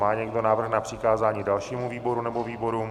Má někdo návrh na přikázání dalšímu výboru nebo výborům?